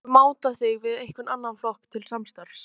Jóhann: Geturðu mátað þig við einhvern annan flokk til samstarfs?